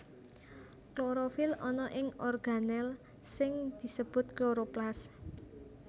Klorofil ana ing organel sing disebut kloroplas